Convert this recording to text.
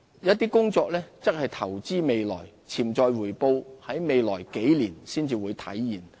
一些工作則是投資未來，潛在回報在未來數年才可體現。